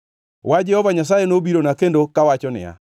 Wach Jehova Nyasaye nobirona kendo kawacho niya,